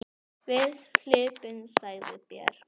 Við hlupum, sagði Björn.